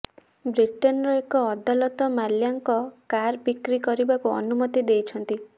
ବ୍ରିଟେନର ଏକ ଅଦାଲତ ମାଲ୍ୟାଙ୍କ କାର ବ୍ରିକି କରିବାକୁ ଅନୁମତି ଦେଇଛନ୍ତି